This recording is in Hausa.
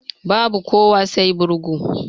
Babu kuwa sai burga